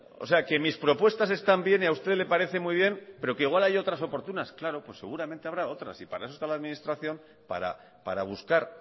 o sea que mis propuestas están bien y a usted le parece muy bien pero que igual hay otras oportunas claro pues seguramente habrá otras y para eso está la administración para buscar